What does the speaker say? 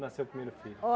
Nasceu o primeiro filho?